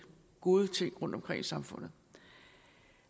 gode ting rundtomkring i samfundet